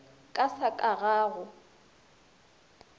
ka sa ka ga go